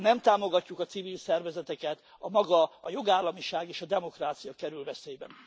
Ha nem támogatjuk a civil szervezeteket, maga a jogállamiság és a demokrácia kerül veszélybe.